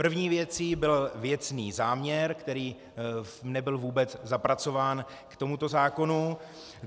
První věcí byl věcný záměr, který nebyl vůbec zapracován k tomuto zákonu.